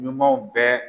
Ɲumanw bɛɛ